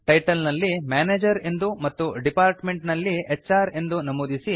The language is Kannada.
ಟೈಟಲ್ ನಲ್ಲಿ ಮ್ಯಾನೇಜರ್ ಎಂದು ಮತ್ತು ಡಿಪಾರ್ಟ್ಮೆಂಟ್ ನಲ್ಲಿ ಹ್ರ್ ಎಂದು ನಮೂದಿಸಿ